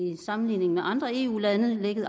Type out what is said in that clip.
i sammenligning med andre eu lande